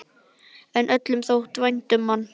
En öllum þótti vænt um hann.